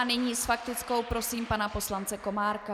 A nyní s faktickou prosím pana poslance Komárka.